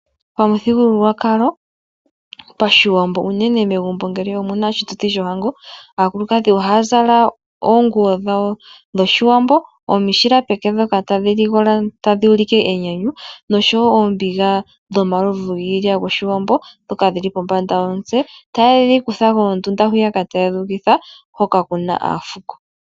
Pamuthigululwakalo ,pashiwambo unene megumbo ngele omuna oshituthi shohango aakulukadhi ohaya zala oonguwo dhawo dhoshiwambo ,omishila peke ndhoka tadhi ligola tadhi ulike enyanyu noshoewo oombiga dhomalovu giilya goshiwambo ndhoka dhili pombanda yomitse kondunda hoka kuna aafuko.